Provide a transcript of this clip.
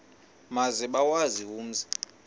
maze bawazi umzi